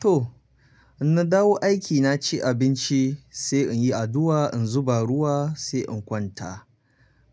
To, in na dawo aiki na ci abinci, sai in yi addu'a, in zuba ruwa sai in kwanta.